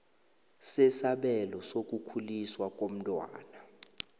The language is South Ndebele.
sesabelo sokukhuliswa komntwana